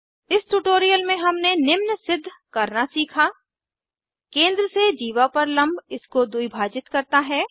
इस ट्यूटोरियल में हमने निम्न सिद्ध करना सीखा160 केंद्र से जीवा पर लम्ब इसको द्विभाजित करता है